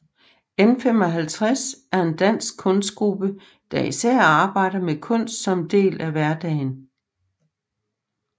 N55 er en dansk kunstgruppe der især arbejder med kunst som en del af hverdagen